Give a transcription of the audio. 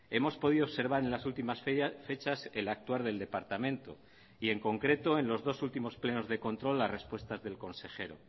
hemos podido observar en las últimas fechas el actuar del departamento y en concreto en los dos últimos plenos de control las respuestas del consejero